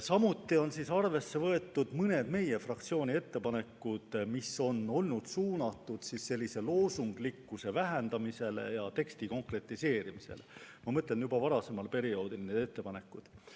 Samuti on arvesse võetud mõningaid meie fraktsiooni ettepanekuid, mis on olnud suunatud loosunglikkuse vähendamisele ja teksti konkretiseerimisele – ma mõtlen neid varasema perioodi ettepanekuid.